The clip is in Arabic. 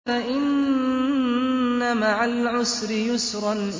فَإِنَّ مَعَ الْعُسْرِ يُسْرًا